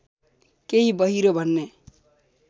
केही बहिरो भन्ने